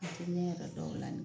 ne yɛrɛ dɔw la nin